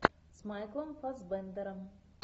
с майклом фассбендером